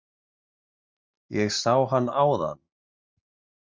Ég sá hann áðan.